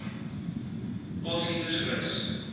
potgietersrus